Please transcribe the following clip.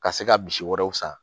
Ka se ka misi wɛrɛw san